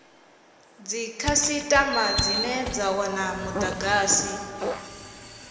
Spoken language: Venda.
dzikhasitama dzine dza wana mudagasi